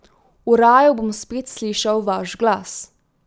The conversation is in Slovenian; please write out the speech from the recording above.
V raju bom spet slišal vaš glas.